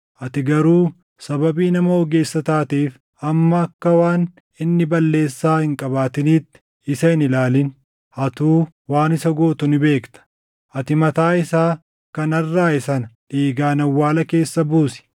Ati garuu sababii nama ogeessa taateef amma akka waan inni balleessaa hin qabaatiniitti isa hin ilaalin. Atuu waan isa gootu ni beekta. Ati mataa isaa kan arraaʼe sana dhiigaan awwaala keessa buusi.”